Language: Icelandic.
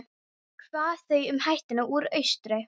Hvað þá um hættuna úr austri?